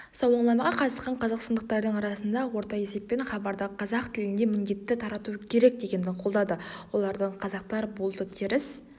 сауалнамаға қатысқан қазақстандықтардың арасында орта есеппен хабарды қазақ тілінде міндетті тарату керек дегенді қолдады олардың қазақтар болды теріс